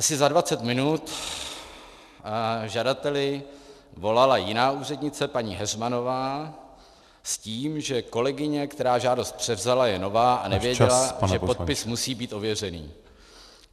Asi za 20 minut žadateli volala jiná úřednice, paní Heřmanová, s tím, že kolegyně, která žádost převzala, je nová a nevěděla , že podpis musí být ověřený.